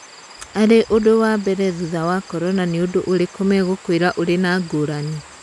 Arĩ ũndũ wa mbere thutha wa korona nĩũndũ ũrĩku megũĩka ũrĩ na ngũrani?